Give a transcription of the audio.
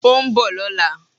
Ó nbò lóla